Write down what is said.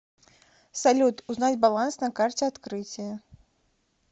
салют узнать баланс на карте открытие